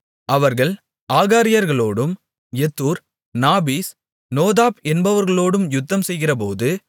அவர்கள் ஆகாரியர்களோடும் யெத்தூர் நாபீஸ் நோதாப் என்பவர்களோடும் யுத்தம்செய்கிறபோது